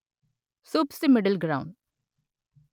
soups the middle ground